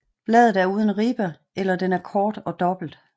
Bladet er uden ribbe eller den er kort og dobbelt